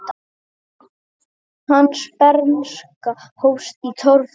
Hans bernska hófst í torfbæ.